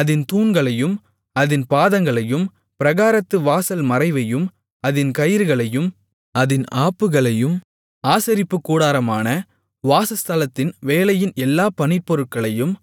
அதின் தூண்களையும் அதின் பாதங்களையும் பிராகாரத்து வாசல் மறைவையும் அதின் கயிறுகளையும் அதின் ஆப்புகளையும் ஆசரிப்புக்கூடாரமான வாசஸ்தலத்தின் வேலையின் எல்லா பணிப்பொருட்களையும்